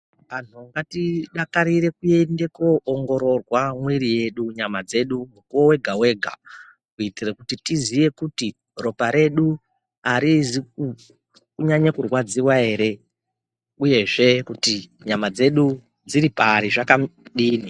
Anhu ngatidakarire kuenda kunoongororwa mwiri yedu mwana dzedu mukuwo wega wega kuti tiziye kuti ropa redu arizi kunyanye kurwadziwa ere uyu zvekuti nyama dzedu dziri pari zvakambodini.